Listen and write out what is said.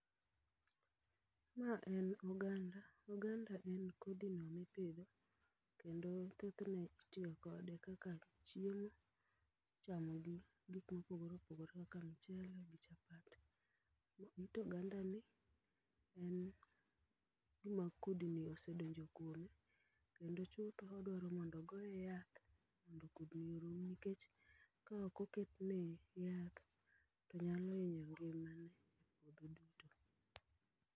ma en oganda ,oganda en kodhi no mipidhi kendo thothne itiyo kode kaka chiemo, ichamo gi gi gik mopogore opogore kaka michele gi chapat it ogandani en gima kudni osedonjo kuome kendo chutho odwaro mondo ogoye yath mondo kudno orum nikech ka ok oketne yath to nyalo hinyo ngimane .